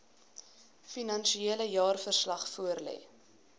finansiële jaarverslag voorlê